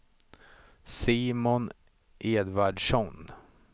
Simon Edvardsson